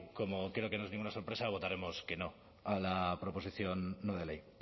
como creo que no es ninguna sorpresa votaremos que no a la proposición no de ley